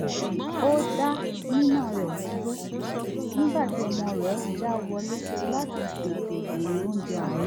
ó dá nínà rẹ̀ dúró nígbà tí ọmọ rẹ̀ já wọlé láti tètè bèrè oúnjẹ àárọ̀